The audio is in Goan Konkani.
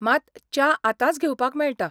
मात, च्या आतांच घेवपाक मेळटा.